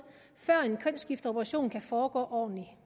før en kønsskifteoperation kan foregå ordentlig